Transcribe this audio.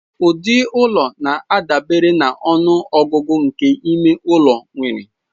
Ụdị ụlọ na-adabere na ọnụ ọgụgụ nke ime ụlọ nwere.